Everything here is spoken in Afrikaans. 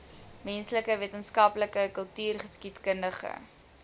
menslike wetenskappe kultureelgeskiedkundige